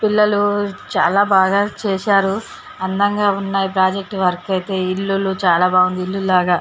పిల్లలు చాలా బాగా చేశారు అందంగా ఉన్నాయి ప్రాజెక్ట్ వర్క్ అయితే ఇల్లులు చాలా బాగుంధి ఇల్లు లాగా.